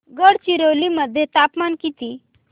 गडचिरोली मध्ये तापमान किती